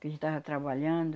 Que a gente estava trabalhando.